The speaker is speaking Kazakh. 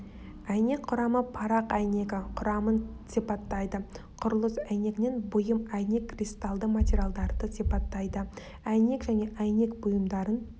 әйнек құрамы парақ әйнегі құрамын сипаттайды құрылыс әйнегінен бұйым әйнек кристаллды материалдарды сипаттайды әйнек және әйнек бұйымдарын